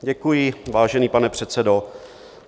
Děkuji, vážený pane předsedo.